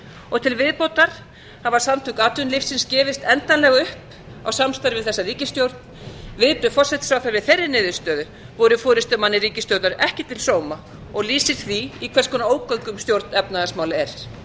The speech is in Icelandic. og til viðbótar hafa samtök atvinnulífsins gefist endanlega upp á samstarfi við þessa ríkisstjórn viðbrögð forsætisráðherra við þeirri niðurstöðu voru forustumanni ríkisstjórnar ekki til sóma og lýsir því í hvers konar ógöngum stjórn efnahagsmála er